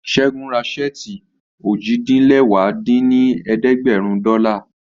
Ṣẹ́gun ra ṣẹ́ẹ̀tì ojì-din-lẹwá dín ní ẹ̀ẹ́dẹ́gbẹ́rún dọ́là